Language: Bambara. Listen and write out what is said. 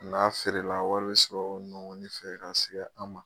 N'a feerela wari be sɔrɔ nɔ ni fɛ k'a siga an ma